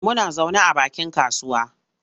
Muna zaune a bakin kasuwa.